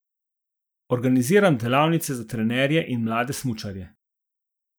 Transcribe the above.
Organiziram delavnice za trenerje in mlade smučarje.